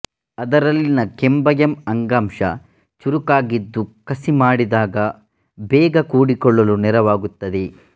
ಅದರಲ್ಲಿನ ಕೆಂಬಯಂ ಅಂಗಾಂಶ ಚುರುಕಾಗಿದ್ದು ಕಸಿ ಮಾಡಿದಾಗ ಬೇಗಕೂಡಿಕೊಳ್ಳಲು ನೆರವಾಗುತ್ತದೆ